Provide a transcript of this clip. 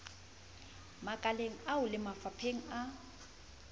makaleng ao le mafapheng a